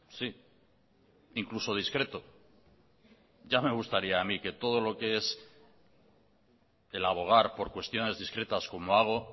sí incluso discreto ya me gustaría a mí que todo lo que es el abogar por cuestiones discretas como hago